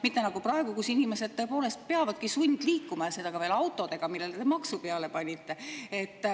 Mitte nagu praegu, kui inimesed tõepoolest peavadki sundliikuma, ja seda veel autodega, millele te maksu peale panite.